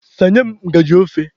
Sanye m ngajị ofe.